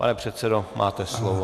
Pane předsedo, máte slovo.